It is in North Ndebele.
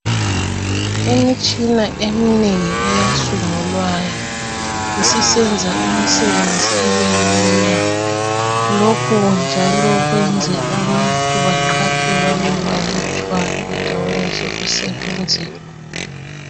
Imitshina eminengi eyasungulwayo isisenza imisebenzi ibelula lokho njalo kwenze abantu baqhatshwe babebalutshwana endaweni zokusebenzela.